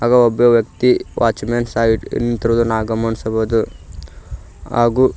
ಹಾಗೂ ಒಬ್ಬ ವ್ಯಕ್ತಿ ವಾಚ್ಮನ್ ಸಹ ಇಲ್ಲಿ ನಿಂತಿರುವುದು ನಾವು ಗಮನಿಸಬಹುದು ಹಾಗೂ--